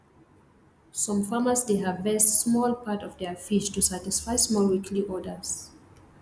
some farmers dey harvest small part of their fish to satisfy small weekly orders